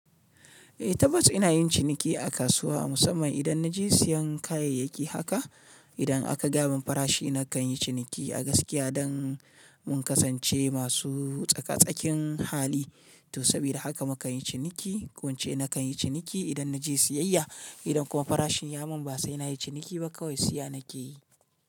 Eh tabbas ina yin ciniki a kasuwa musamman idan na je siyan kayayyaki. Haka idan aka gaya min farashi na kan yi ciniki a gaskiya don mun kasance masu tsaka-tsakin hali. To saboda haka muka yi ciniki. Ko in ce na kan yi ciniki idan na je siyayya. Idan kuma farashin ya mun ba sai na yi ciniki ba kawai siya na ke yi.